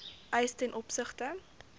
eis ten opsigte